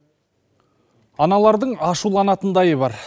аналардың ашуланатынындайы бар